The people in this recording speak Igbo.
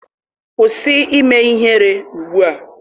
Kwụsị ime ihere ugbua!